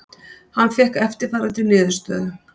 Hann fékk eftirfarandi niðurstöðu: